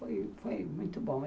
Foi foi muito bom.